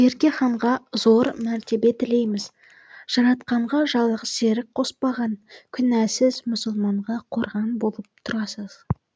берке ханға зор мәртебе тілейміз жаратқанға жалғыз серік қоспаған күнәсіз мұсылманға қорған болып тұрасыз